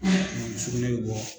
sukunɛ bi bɔ.